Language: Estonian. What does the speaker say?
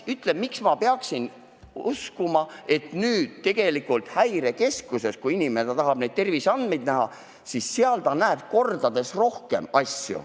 Ütle, miks ma peaksin uskuma, et kui inimene nüüd Häirekeskuses tahab terviseandmeid näha, näeb ta neid kordades rohkem.